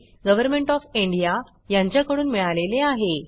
government of India कडून मिळाले आहे